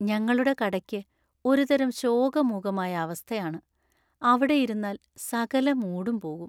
ഞങ്ങളുടെ കടയ്ക്ക് ഒരു തരം ശോകമൂകമായ അവസ്ഥയാണ്. അവിടെ ഇരുന്നാൽ സകല മൂഡും പോകും.